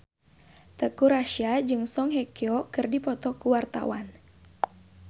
Teuku Rassya jeung Song Hye Kyo keur dipoto ku wartawan